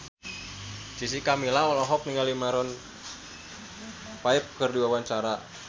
Jessica Milla olohok ningali Maroon 5 keur diwawancara